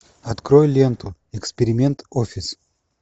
открой ленту эксперимент офис